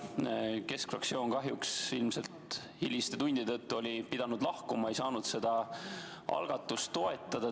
Kahjuks oli keskfraktsioon ilmselt hiliste tundide tõttu pidanud lahkuma ega saanud seda algatust toetada.